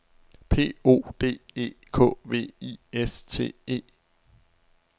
P O D E K V I S T E